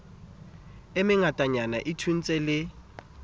e mengatanyana e thontshe le